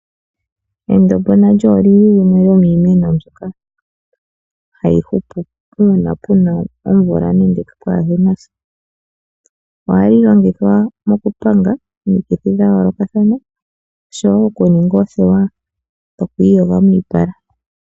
Endombo nalyo olili oshimeno shoka hashi hupu uuna kuna omvula, nenge kaakunasha. Ohali longithwa mokupanga omikithi dhayoolokathana, oshowo okuninga oothewa dhokwiiyoga miipala.